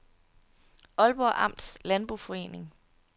Aalborg Amts Landboforening